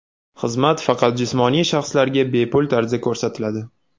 Xizmat faqat jismoniy shaxslarga bepul tarzda ko‘rsatiladi.